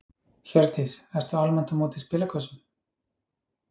Hjördís: Ertu almennt á móti spilakössum?